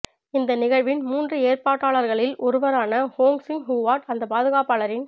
இந்த நிகழ்வின் மூன்று ஏற்பாட்டாளர்களில் ஒருவரான வோங் சின் ஹுவாட் அந்த பாதுகாப்பாளரின்